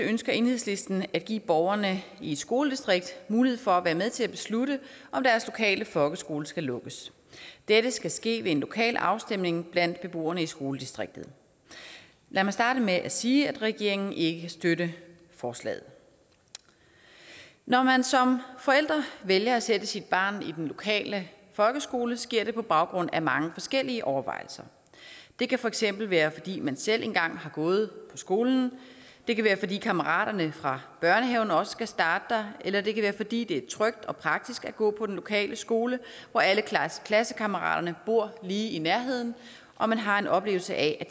ønsker enhedslisten at give borgerne i et skoledistrikt mulighed for at være med til at beslutte om deres lokale folkeskole skal lukkes dette skal ske ved en lokal afstemning blandt beboerne i skoledistriktet lad mig starte med at sige at regeringen ikke kan støtte forslaget når man som forældre vælger at sætte sit barn i den lokale folkeskole sker det på baggrund af mange forskellige overvejelser det kan for eksempel være fordi man selv engang har gået på skolen det kan være fordi kammeraterne fra børnehaven også skal starte der eller det kan være fordi det er trygt og praktisk at gå på den lokale skole hvor alle klassekammeraterne bor lige i nærheden og man har en oplevelse af